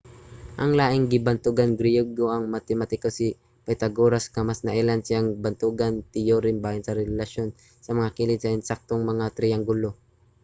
ang laing bantugang griyego mao ang matematiko nga si pythagoras nga mas nailhan sa iyang bantugan teyorem bahin sa relasyon sa mga kilid sa ensaktong mga triyanggulo